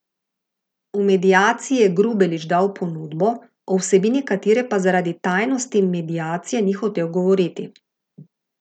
V mediaciji je Grubelić dal ponudbo, o vsebini katere pa zaradi tajnosti mediacije ni hotel govoriti.